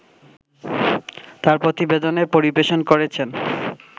তার প্রতিবেদন পরিবেশন করছেন